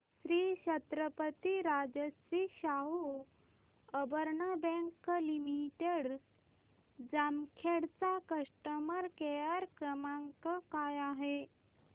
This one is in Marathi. Shri Chhatrapati Rajshri Shahu urban bank limited Jamkhed चा कस्टमर केअर क्रमांक काय आहे